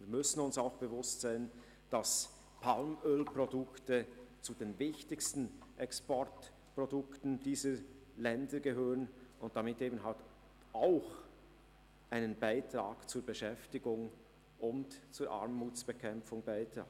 Wir müssen uns auch bewusst sein, dass Palmölprodukte zu den wichtigsten Exportprodukten dieser Länder gehören und damit auch einen Beitrag zur Beschäftigung und zur Armutsbekämpfung leisten.